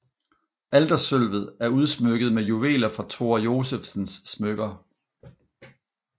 Altersølvet er udsmykket med juveler fra Thora Josephsens smykker